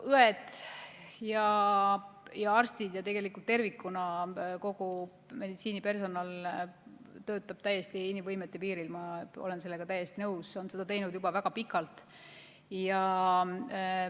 Õed ja arstid ja tervikuna kogu meditsiinipersonal töötab inimvõimete piiril, ma olen sellega täiesti nõus, on seda teinud juba väga pikalt.